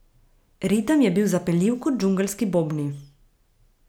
Ritem je bil zapeljiv kot džungelski bobni.